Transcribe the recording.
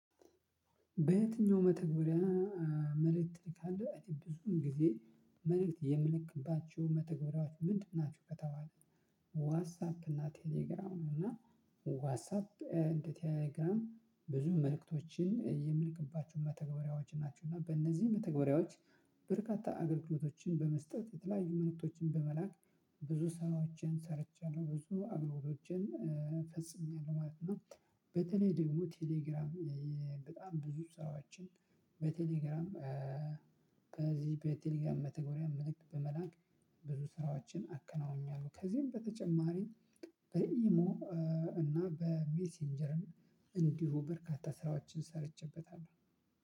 በየትኛው መተግበሪያ መልእክት ትልካለህ ብዙም ጊዜ መልእክት የምልክባቸው መተግበራችሁ ምንድን ናችሁ ከተባለ ዋትሳፕ እና ቴሌግራም እና ዋትሳፕ እንደ ቴሌግራም ብዙ መልእክቶችን የምንልክባቸው መተግበሪያዎች ናቸው እና በእነዚህ መተግበሪያዎች በርካታ አገልግሎቶችን በመስጠት የተለያዩ መልእክቶችን በመላክ ብዙ ስራዎችን ሰርቻለሁ፣ ብዙ አምሮቶቼን ፈጽሜያለሁ ማለት ነው። በተለይ ደግሞ ቴሌግራም በጣም ብዙ ስራዎችን በቴሌግራም ከዚህ በቴሌግራም መተግበሪያ መልእክት በመላክ ብዙ ስራዎችን አከናውኛለሁ ከዚህም በተጨማሪ በኢሞ እና በሜሴንጀርም እንዲሁ በርካታ ስራዎችን ሰርቼበታለሁ።